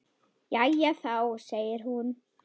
Jæja þá, segir hún.